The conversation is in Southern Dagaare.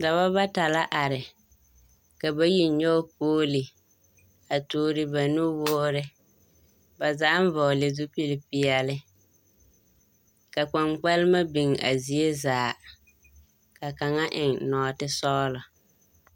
Dɔba bata are, ka bayi nyɔge pooli, a toore ma nuwoore, ba zaaŋ vɔgele zupilpeɛle, ka kpaŋkpalema biŋ a zie zaa, ka kaŋa eŋ nɔɔtesɔglɔ.